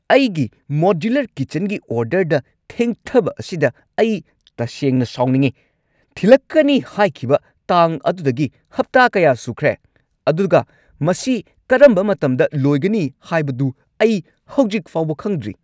ꯑꯩꯒꯤ ꯃꯣꯗ꯭ꯌꯨꯂꯔ ꯀꯤꯆꯟꯒꯤ ꯑꯣꯔꯗꯔꯗ ꯊꯦꯡꯊꯕ ꯑꯁꯤꯗ ꯑꯩ ꯇꯁꯦꯡꯅ ꯁꯥꯎꯅꯤꯡꯉꯤ꯫ ꯊꯤꯜꯂꯛꯀꯅꯤ ꯍꯥꯏꯈꯤꯕ ꯇꯥꯡ ꯑꯗꯨꯗꯒꯤ ꯍꯞꯇꯥ ꯀꯌꯥ ꯁꯨꯈ꯭ꯔꯦ, ꯑꯗꯨꯒ ꯃꯁꯤ ꯀꯔꯝꯕ ꯃꯇꯝꯗ ꯂꯣꯏꯒꯅꯤ ꯍꯥꯏꯕꯗꯨ ꯑꯩ ꯍꯧꯖꯤꯛ ꯐꯥꯎꯕ ꯈꯪꯗ꯭ꯔꯤ꯫